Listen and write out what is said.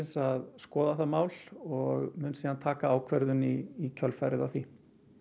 að skoða það mál og mun síðan taka ákvörðun í kjölfarið á því